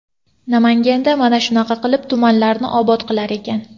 Namanganda mana shunaqa qilib tumanlarni obod qilar ekan.